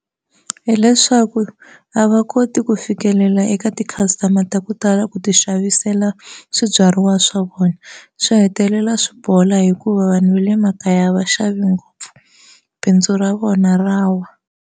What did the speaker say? Hileswaku a va koti ku fikelela eka ti-customer ta ku tala ku ti xavisela swibyariwa swa vona swi hetelela swi bola hikuva vanhu va le makaya a va xavi ngopfu bindzu ra vona ra wa.